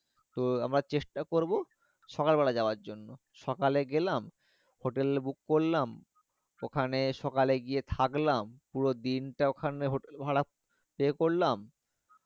তো আমরা চেষ্টা করবো সকাল বেলা যাওয়ার জন্য সকালে গেলাম hotel book করলাম ওখানে সকালে গিয়ে থাকলাম পুরো দিনটা ওখানে hotel ভাড়া pay করলাম